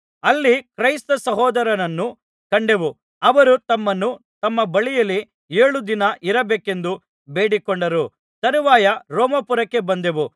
ಅಲ್ಲಿ ಕ್ರೈಸ್ತ ಸಹೋದರರನ್ನು ಕಂಡೆವು ಅವರು ನಮ್ಮನ್ನು ತಮ್ಮ ಬಳಿಯಲ್ಲಿ ಏಳು ದಿನ ಇರಬೇಕೆಂದು ಬೇಡಿಕೊಂಡರು ತರುವಾಯ ರೋಮಾಪುರಕ್ಕೆ ಬಂದೆವು